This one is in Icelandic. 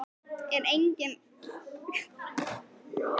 Er engin kreppa í Víkingi, var þetta ekki dýrt?